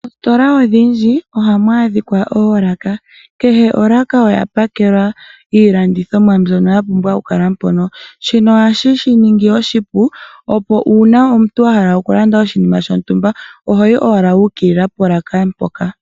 Moositola odhindji ohamu adhika oolaka, kehe olaaka oya pakelwa iilandithomwa mbyono ya pumbwa okukala mpono. DhinoShino ohashi shi ningi oshipu opo omuntu wa hala okulanda oshinima shontumba ohoyi owala wa ukilila polaka mpoka.